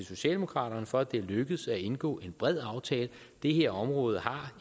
socialdemokraterne for at det er lykkedes at indgå en bred aftale det her område har